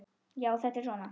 Já, þetta er svona.